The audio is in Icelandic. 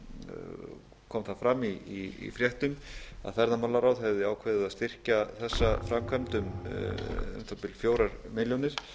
nýverið kom það fram í fréttum að ferðamálaráð hefði ákveðið að styrkja þessa framkvæmd um um það bil fjórar milljónir